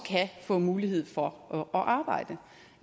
mulighed for at arbejde